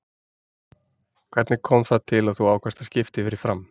Hvernig kom það til að þú ákvaðst að skipta yfir í FRAM?